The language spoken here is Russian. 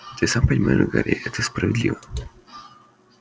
ты и сам понимаешь гарри это справедливо